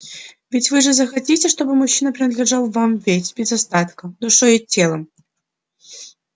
ведь вы же захотите чтобы мужчина принадлежал вам весь без остатка душой и телом